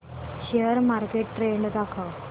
share market trend दाखव